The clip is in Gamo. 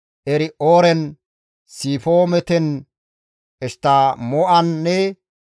Eri7ooren, Sifimooten, Eshttamo7anne